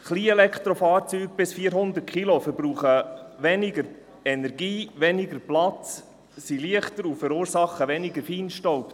Kleinelektrofahrzeuge bis 400 Kilogramm verbrauchen weniger Energie, weniger Platz, sie sind leichter und verursachen weniger Feinstaub.